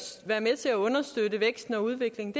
være med til at understøtte væksten og udviklingen